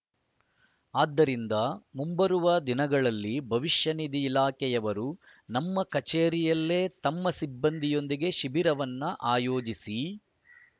ಆದ್ದರಿಂದ ಮುಂಬರುವ ದಿನಗಳಲ್ಲಿ ಭವಿಷ್ಯನಿಧಿ ಇಲಾಖೆಯವರು ನಮ್ಮ ಕಚೇರಿಯಲ್ಲೇ ತಮ್ಮ ಸಿಬ್ಬಂದಿಯೊಂದಿಗೆ ಶಿಬಿರವನ್ನು ಆಯೋಜಿಸಿ